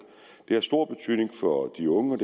det har stor betydning for de unge